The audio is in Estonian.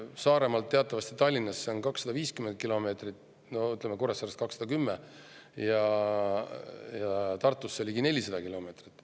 Saaremaalt või, ütleme, Kuressaarest Tallinnasse on teatavasti 250 kilomeetrit ja Tartusse ligi 400 kilomeetrit.